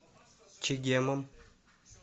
чегемом